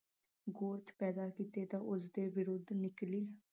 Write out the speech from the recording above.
ਗੌਤ ਪੈਦਾ ਕੀਤੇ ਤਾਂ ਉਸਦੇ ਵਿਰੁੱਧ ਨਿਕਲੀ